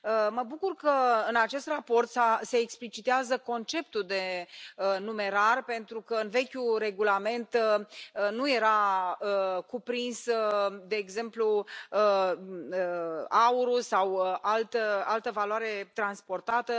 Mă bucur că în acest raport se explicitează conceptul de numerar, pentru că în vechiul regulament nu era cuprins, de exemplu, aurul sau altă valoare transportată.